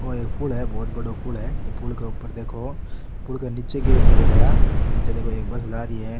औ एक पूल है बहोत बड़ो पूल है ई पूल क ऊपर देखो पूल के निचे साइड है आ निचे देखो एक बस जा रि है।